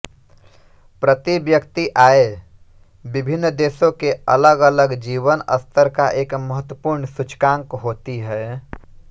प्रति व्यक्ति आय विभिन्न देशों के अलगअलग जीवन स्तर का एक महत्वपूर्ण सूचकांक होती है